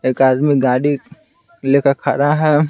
एक आदमी गाड़ी लेकर खड़ा है।